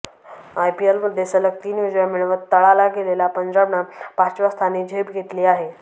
आयपीएलमध्ये सलग तीन विजय मिळवत तळाला गेलेल्या पंजाबनं पाचव्या स्थानी झेप घेतली आहे